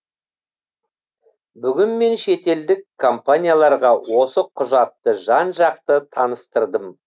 бүгін мен шетелдік компанияларға осы құжатты жан жақты таныстырдым